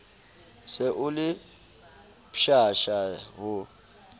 se o le pshasha ho